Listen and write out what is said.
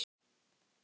Þannig var amma.